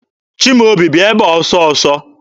Chimaobi, bịa ebe a ọsọ ọsọ!